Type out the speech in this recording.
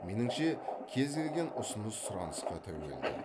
меніңше кез келген ұсыныс сұранысқа тәуелді